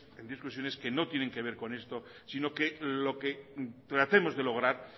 en discusiones que no tienen que ver con esto sino que lo que tratemos de lograr